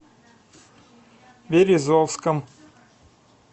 березовском